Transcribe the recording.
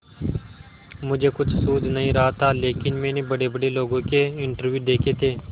मुझे कुछ सूझ नहीं रहा था लेकिन मैंने बड़ेबड़े लोगों के इंटरव्यू देखे थे